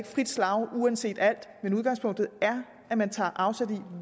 frit slag uanset hvad udgangspunktet er at man tager afsæt i